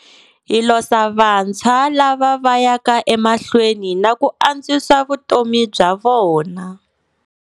Hi losa vantshwa lava va yaka emahlweni na ku antswisa vutomi bya vona.